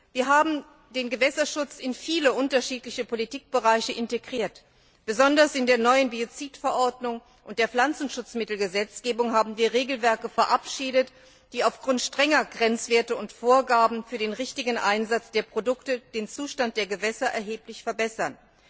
Wir haben den Gewässerschutz in viele unterschiedliche Politikbereiche integriert, besonders in der neuen Biozidverordnung und der Pflanzenschutzmittelgesetzgebung haben wir Regelwerke verabschiedet, die aufgrund strenger Grenzwerte und Vorgaben für den richtigen Einsatz der Produkte den Zustand der Gewässer erheblich verbessern.